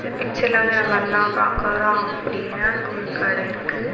இந்த பிச்சர்ல வந்து நம்ம என்ன பாக்கறோ அப்படினா இங்க ஒரு கட இருக்கு.